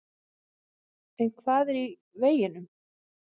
En hvað er í veginum?